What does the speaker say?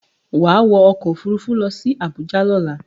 Wá wọ ọkọ̀ Òfurufú lọ sí Àbújá lọ́la!